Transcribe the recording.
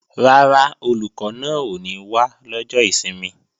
Rárá, Olùkọ́ náà ò ní wá lọ́jọ́ ìsinmi